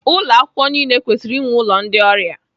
Ụlọ akwukwo niile kwesịrị inwe ụlọ ndị ọrịa.